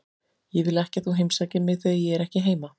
Ég vil ekki að þú heimsækir mig þegar ég er ekki heima.